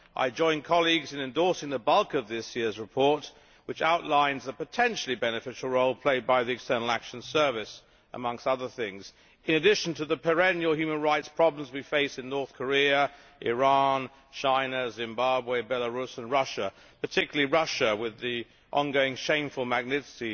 I join colleagues in endorsing the bulk of this year's report, which outlines the potentially beneficial role played by the External Action Service amongst other things, in addition to the perennial human rights probes we face in North Korea, Iran, China, Zimbabwe, Belarus and Russia particularly Russia with the ongoing shameful Magnitsky